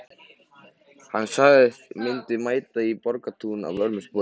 Hann sagðist myndu mæta í Borgartún að vörmu spori.